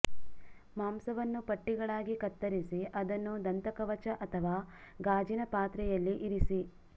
ಮಾಂಸವನ್ನು ಪಟ್ಟಿಗಳಾಗಿ ಕತ್ತರಿಸಿ ಅದನ್ನು ದಂತಕವಚ ಅಥವಾ ಗಾಜಿನ ಪಾತ್ರೆಯಲ್ಲಿ ಇರಿಸಿ